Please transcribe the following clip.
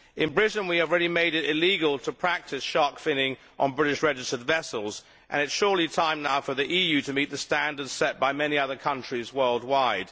In Britain we have already made it illegal to practise shark finning on British registered vessels, and it is surely time now for the EU to meet the standards set by many other countries worldwide.